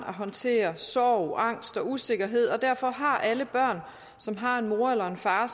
at håndtere sorg angst og usikkerhed og derfor har alle børn som har en mor eller far